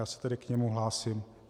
Já se tedy k němu hlásím.